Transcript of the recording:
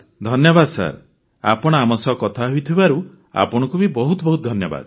ଧନ୍ୟବାଦ ସାର୍ ଆପଣ ଆମ ସହ କଥା ହୋଇଥିବାରୁ ଆପଣଙ୍କୁ ବି ବହୁତ ବହୁତ ଧନ୍ୟବାଦ